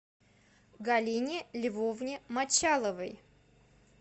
галине львовне мочаловой